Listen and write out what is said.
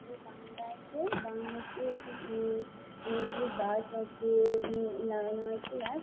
বাংলা আছে বাংলাতে উ অনেক গুলি গাছ আছে-এ লাগানো আছে গাছ --